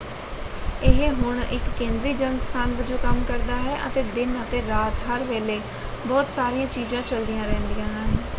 ਇਹ ਹੁਣ ਇੱਕ ਕੇਂਦਰੀ ਜਨ ਸਥਾਨ ਵਜੋਂ ਕੰਮ ਕਰਦਾ ਹੈ ਅਤੇ ਦਿਨ ਅਤੇ ਰਾਤ ਹਰ ਵੇਲੇ ਬਹੁਤ ਸਾਰੀਆਂ ਚੀਜ਼ਾਂ ਚਲਦੀਆਂ ਰਹਿੰਦੀਆਂ ਹਨ।